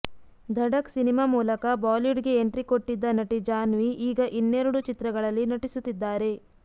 Dhadak cinema ಮೂಲಕ ಬಾಲಿವುಡ್ಗೆ entry ಕೊಟ್ಟಿದ್ದ ನಟಿ ಜಾನ್ವಿ ಈಗ ಇನ್ನೆರಡು ಚಿತ್ರಗಳಲ್ಲಿನಟಿಸುತ್ತಿದ್ದಾರೆ